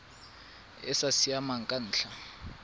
e sa siamang ka ntlha